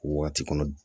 Wagati kɔnɔ